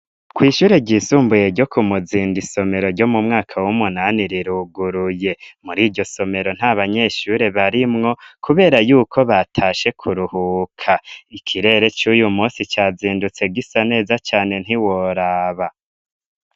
Kw'ishure ryisumbuye ryo ku muzinda isomero ryo mu mwaka w'umunani riruguruye muri iryo somero nta banyeshure barimwo, kubera yuko batashe kuruhuka ikirere c'uyu musi cazindutse gisa neza cane ntiworaba.